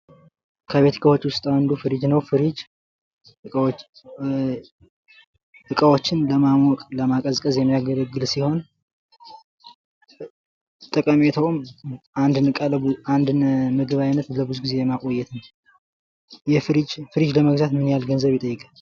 ከቤት እቃዎች ዉስጥ አንዱ ፍሪጅ ነው። ፍሪጅ እእ እቃዎችን ለማሞቅ ለማቀዝቀዝ የሚያገለግል ሲሆን ጠቀሜታውም አንድን ምግብ አይነት ለብዙ ጊዜ ለማቆየት ነው። የፍሪጅ ፍሪጅ ለመግዛት ምን ያህል ገንዘብ ይጠይቃል።